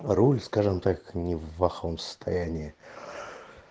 руль скажем так не в плохом состоянии